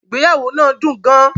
Ìgbéyàwó náà dún gán.